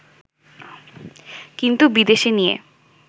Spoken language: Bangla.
কিন্তু বিদেশে নিয়ে